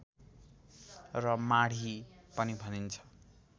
र माढी पनि भनिन्छ